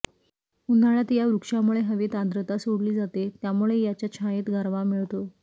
उन्ह्याळ्यात या वृक्षामुळे हवेत आद्रता सोडली जाते त्यामुळे याच्या छायेत गारवा मिळतो